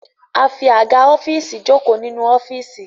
A fí Àga ọ́fíìsì joko nínú ọfiisi